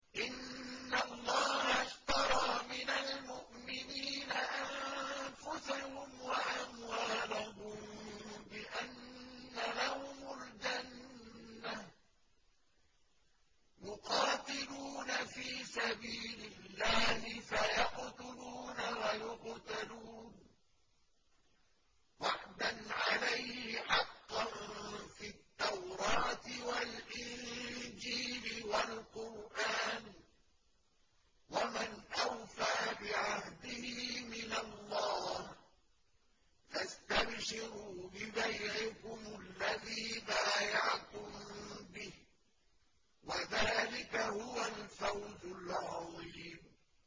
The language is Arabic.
۞ إِنَّ اللَّهَ اشْتَرَىٰ مِنَ الْمُؤْمِنِينَ أَنفُسَهُمْ وَأَمْوَالَهُم بِأَنَّ لَهُمُ الْجَنَّةَ ۚ يُقَاتِلُونَ فِي سَبِيلِ اللَّهِ فَيَقْتُلُونَ وَيُقْتَلُونَ ۖ وَعْدًا عَلَيْهِ حَقًّا فِي التَّوْرَاةِ وَالْإِنجِيلِ وَالْقُرْآنِ ۚ وَمَنْ أَوْفَىٰ بِعَهْدِهِ مِنَ اللَّهِ ۚ فَاسْتَبْشِرُوا بِبَيْعِكُمُ الَّذِي بَايَعْتُم بِهِ ۚ وَذَٰلِكَ هُوَ الْفَوْزُ الْعَظِيمُ